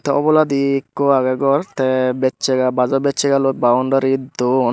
te uboladi ikko agey gor tey beccaga bajo beccega loi baondari duon.